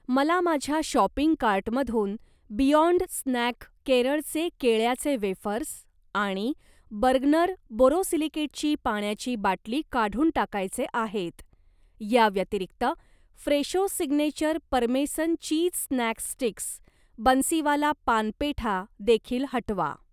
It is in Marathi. मला माझ्या शॉपिंग कार्टमधून बियाँड स्नॅक केरळचे केळ्याचे वेफर्स आणि बर्गनर बोरोसिलिकेटची पाण्याची बाटली काढून टाकायचे आहेत. या व्यतिरिक्त, Fresho signature parmesan cheese snack sticks, Bansiwala paan petha देखील हटवा.